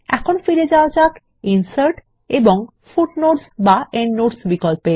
এখন ফিরে যাওয়া যাক ইনসার্ট এবং ফুটনোটস এন্ডনোটস বিকল্প এ